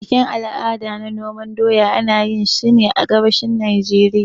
Bikin al'ada na noman doya, ana yinsa ne a gabashin Najeriya.